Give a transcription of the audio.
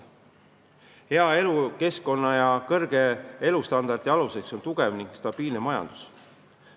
Hea elukeskkonna ja kõrge elustandardi aluseks on tugev ning stabiilne majandus.